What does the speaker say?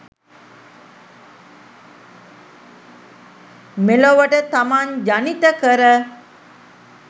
මෙලොවට තමන් ජනිත කර